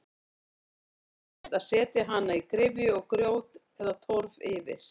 Áður þekktist að setja hana í gryfju og grjót eða torf yfir.